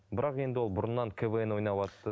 бірақ енді ол бұрыннан квн ойнаватты